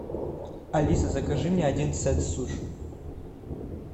алиса закажи мне один сет суш